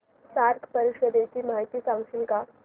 SAARC परिषदेची माहिती सांगशील का